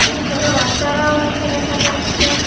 আর ছোট বাচ্চারাও আছে দেখা যাচ্ছে।